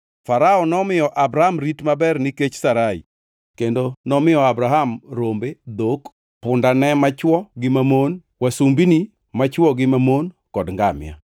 Farao nomiyo Abram rit maber nikech Sarai, kendo nomiyo Abram rombe, dhok, pundane machwo gi mamon, wasumbini machwo gi mamon kod ngamia.